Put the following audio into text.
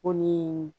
Ko ni